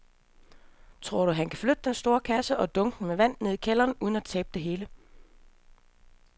Tror du, at han kan flytte den store kasse og dunkene med vand ned i kælderen uden at tabe det hele?